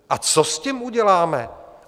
A co s tím uděláme?